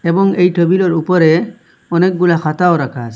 এবং এই টেবিলের উপরে অনেকগুলা খাতাও রাখা আছ--